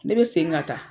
Ne bɛ segin ka taa